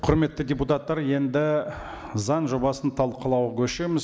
құрметті депутаттар енді заң жобасын талқылауға көшеміз